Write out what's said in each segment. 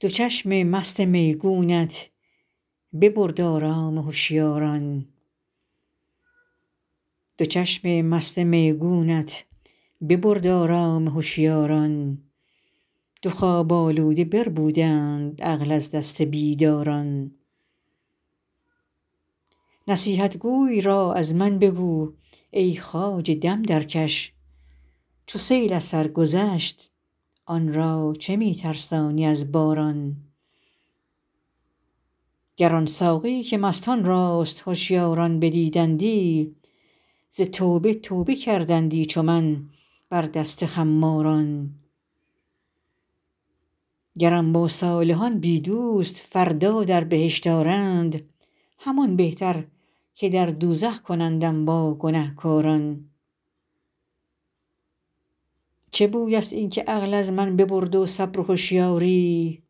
دو چشم مست میگونت ببرد آرام هشیاران دو خواب آلوده بربودند عقل از دست بیداران نصیحتگوی را از من بگو ای خواجه دم درکش چو سیل از سر گذشت آن را چه می ترسانی از باران گر آن ساقی که مستان راست هشیاران بدیدندی ز توبه توبه کردندی چو من بر دست خماران گرم با صالحان بی دوست فردا در بهشت آرند همان بهتر که در دوزخ کنندم با گنهکاران چه بوی است این که عقل از من ببرد و صبر و هشیاری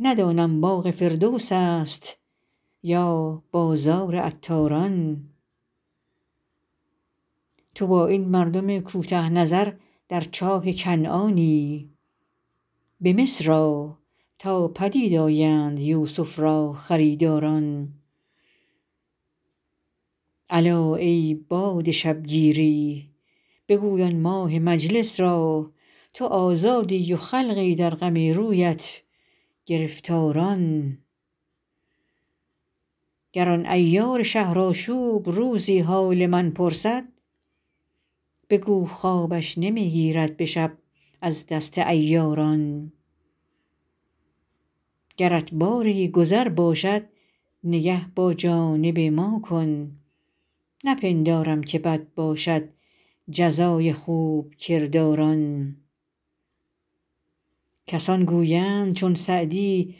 ندانم باغ فردوس است یا بازار عطاران تو با این مردم کوته نظر در چاه کنعانی به مصر آ تا پدید آیند یوسف را خریداران الا ای باد شبگیری بگوی آن ماه مجلس را تو آزادی و خلقی در غم رویت گرفتاران گر آن عیار شهرآشوب روزی حال من پرسد بگو خوابش نمی گیرد به شب از دست عیاران گرت باری گذر باشد نگه با جانب ما کن نپندارم که بد باشد جزای خوب کرداران کسان گویند چون سعدی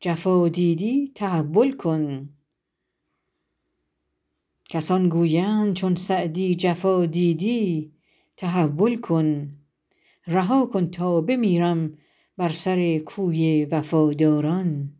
جفا دیدی تحول کن رها کن تا بمیرم بر سر کوی وفاداران